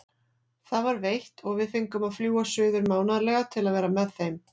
Það var veitt og við fengum að fljúga suður mánaðarlega til að vera með þeim.